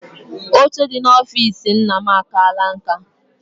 Oche dị n'ọfici nna m akaala nka.